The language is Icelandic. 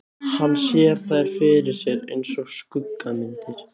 Hann sér þær fyrir sér einsog skuggamyndir.